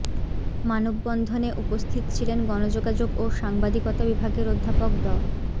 মানববন্ধনে উপস্থিত ছিলেন গণযোগাযোগ ও সাংবাদিকতা বিভাগের অধ্যাপক ড